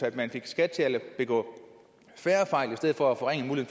at man fik skat til at begå færre fejl i stedet for at forringe